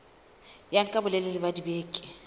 ya nka bolelele ba dibeke